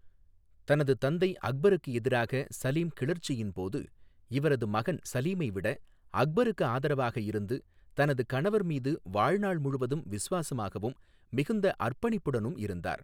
தனது தந்தை அக்பருக்கு எதிராக சலீம் கிளர்ச்சியின் போது, இவரது மகன் சலீமை விட அக்பருக்கு ஆதரவாக இருந்து, தனது கணவர் மீது வாழ்நாள் முழுவதும் விசுவாசமாகவும், மிகுந்த அர்ப்பணிப்புடனும் இருந்தார்.